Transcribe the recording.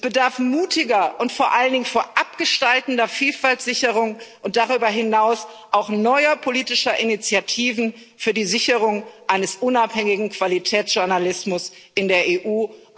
Es bedarf mutiger und vor allen Dingen vorabgestaltender Vielfaltssicherung und darüber hinaus auch neuer politischer Initiativen für die Sicherung eines unabhängigen Qualitätsjournalismus in der EU.